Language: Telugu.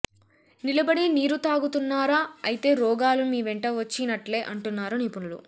నిలబడి నీరుతాగుతున్నారా అయితే రోగాలు మీ వెంట వచ్చి నట్లే అంటున్నారు నిపుణులు